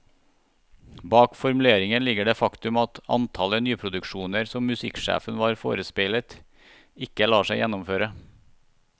Bak formuleringen ligger det faktum at antallet nyproduksjoner som musikksjefen var forespeilet, ikke lar seg gjennomføre.